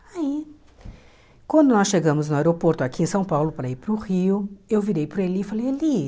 Aí, quando nós chegamos no aeroporto aqui em São Paulo para ir para o Rio, eu virei para ele e falei, Elie...